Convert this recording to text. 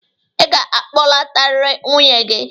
Ị ga-akpọlatarịrị nwunye gị.